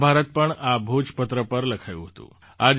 મહાભારત પણ આ ભોજપત્ર પર લખાયું હતું